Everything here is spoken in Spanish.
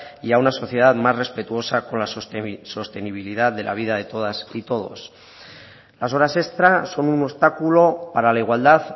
y a una sociedad más respetuosa con la sostenibilidad de la vida de todas y todos las horas extra son un obstáculo para la igualdad